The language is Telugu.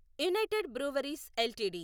United Breweries LTD